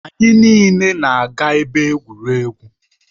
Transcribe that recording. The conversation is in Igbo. Anyị niile na-aga ebe egwuregwu.